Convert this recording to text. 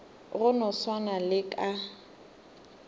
go no swana le ka